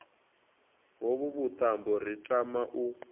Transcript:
hovhu vhuṱambo ri tama u